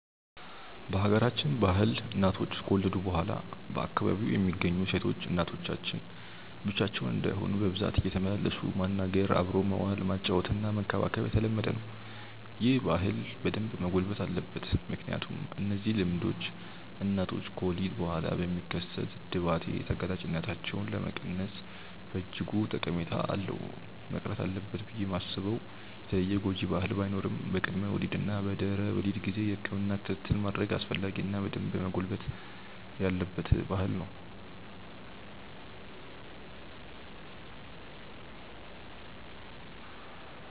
በሀገራችን ባህል እናቶች ከወለዱ በኋላ በአካባቢው የሚገኙ ሴቶች እናቶች ብቻቸውን እንዳይሆኑ በብዛት እየተመላለሱ ማናገር፣ አብሮ መዋል፣ ማጫወትና መንከባከብ የተለመደ ነው። ይህ ባህል በደንብ መጎልበት አለበት ምክንያቱም እነዚህ ልምምዶች እናቶች ከወሊድ በኋላ የሚከሰት ድባቴ ተጋላጭነታቸውን ለመቀነስ በእጅጉ ጠቀሜታ አለው። መቅረት አለበት ብዬ ማስበው የተለየ ጎጂ ባህል ባይኖርም በቅድመ ወሊድ እና በድህረ ወሊድ ጊዜ የህክምና ክትትል ማድረግ አስፈላጊ እና በደንብ መጎልበት ያለበት ባህል ነው።